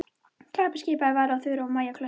Klappiði skipaði Vala og Þura og Maja klöppuðu.